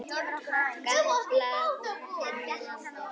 Gamblað er með landið.